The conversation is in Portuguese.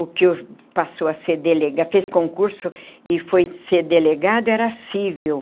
O que passou a ser delegado, fez concurso e foi ser delegado, era cível.